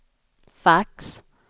fax